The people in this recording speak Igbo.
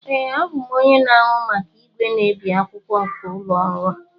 ee, abụ m onye na-ahụ maka igwe na-ebi akwụkwọ nke ụlọ ọrụ a